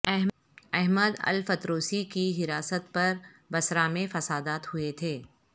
احمد الفتروسی کی حراست پر بصرہ میں فسادات ہوئے تھے